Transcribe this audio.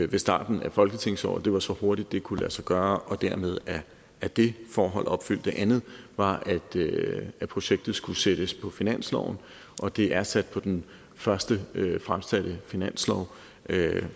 ved starten af folketingsåret det var så hurtigt det kunne lade sig gøre og dermed er det forhold opfyldt den anden var at projektet skulle sættes på finansloven og det er blevet sat på den første mulige fremsatte finanslov